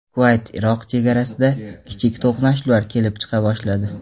Kuvayt–Iroq chegarasida kichik to‘qnashuvlar kelib chiqa boshladi.